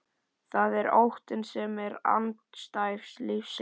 Það er óttinn sem er andstæða lífsins.